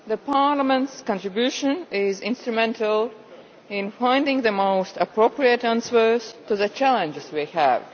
Parliament's contribution is instrumental in finding the most appropriate answers to the challenges we have.